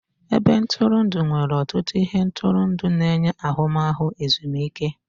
Ebe ntụrụndụ nwere ọtụtụ ihe ntụrụndụ na-enye ahụmahụ ezumike.